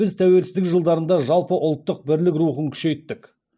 біз тәуелсіздік жылдарында жалпы ұлттық бірлік рухын күшейттік